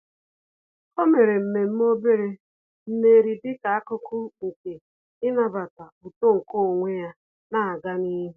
Ọ́ mèrè mmemme obere mmeri dịka ákụ́kụ́ nke ị́nàbàtá uto nke onwe ya nà-ágá n’ihu.